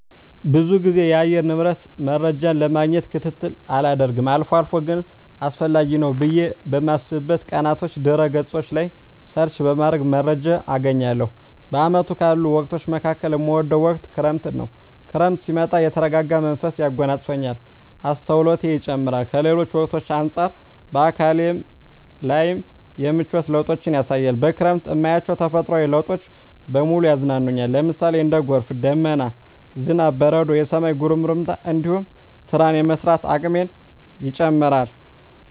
ብዙ ግዜ የአየር ንብረት መረጃን ለማግኘት ክትትል አላደርግም አልፎ አልፎ ግን አስፈላጊ ነው ብየ በማስብበት ቀናቶች ድህረ ገጾች ላይ ሰርች በማድረግ መረጃ አገኛለሁ። በአመቱ ካሉ ወቅቶች መካከል እምወደው ወቅት ክረምትን ነው። ክረምት ሲመጣ የተረጋጋ መንፈስ ያጎናጽፈኛል፣ አስተውሎቴ ይጨምራር፣ ከሌሎች ወቅቶች አንጻር በአካሌ ላይም የምቿት ለውጦችን ያሳያል፣ በክረምት እማያቸው ተፈጥሮአዊ ለውጦች በሙሉ ያዝናኑኛል ለምሳሌ:- እንደ ጎርፍ፣ ደመና፣ ዝናብ፣ በረዶ፣ የሰማይ ጉርምርምታ እንዲሁም ስራን የመስራት አቅሜ ይጨምራር